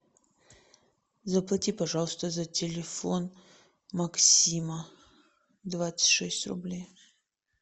заплати пожалуйста за телефон максима двадцать шесть рублей